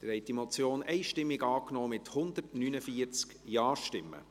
Sie haben diese Motion einstimmig angenommen, mit 149 Ja-Stimmen.